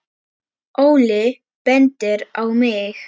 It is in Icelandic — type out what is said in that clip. Óli bendir á mig: